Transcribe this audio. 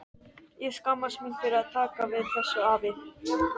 Ég skammast mín fyrir að taka við þessu, afi.